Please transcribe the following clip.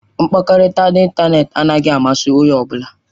Mkpakọrịta n'ịntanetị anaghị amasị onye ọ bụla.